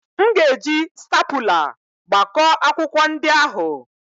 M ga-eji stapula gbakọọ akwụkwọ ndị ahụ.